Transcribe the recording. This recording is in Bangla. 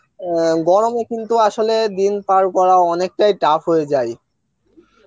গরমে কিন্তু আসলে দিন পার করাটা অনেকটাই tough হয়ে যায়